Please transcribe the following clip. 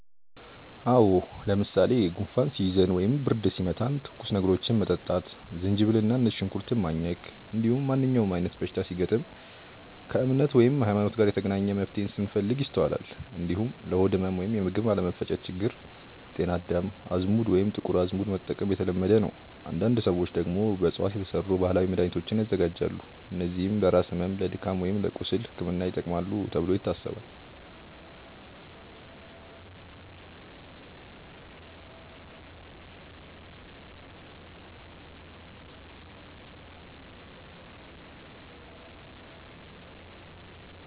አዎ። ለምሳሌ ጉንፋን ሲይዘን ወይም ብርድ ሲመታን ትኩስ ነገሮችን መጠጣት፣ ዝንጅብል እና ነጭ ሽንኩርት ማኘክ፣ እንዲሁም ማንኛውም አይነት በሽታ ሲገጥም ከእምነት (ሀይማኖት) ጋር የተገናኘ መፍትሄን ስንፈልግ ይስተዋላል። እንዲሁም ለሆድ ህመም ወይም የምግብ አለመፈጨት ችግር ጤና አዳም፣ አዝሙድ ወይም ጥቁር አዝሙድ መጠቀም የተለመደ ነው። አንዳንድ ሰዎች ደግሞ በእፅዋት የተሰሩ ባህላዊ መድሃኒቶችን ያዘጋጃሉ፣ እነዚህም ለራስ ህመም፣ ለድካም ወይም ለቁስል ሕክምና ይጠቅማሉ ተብሎ ይታሰባል።